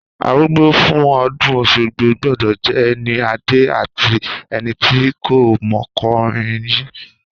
Àrúgbà fún ọ̀dún oṣogbo gbọdọ jẹ ẹni àdẹ àtí ẹniti kọ mọkúnrìn ri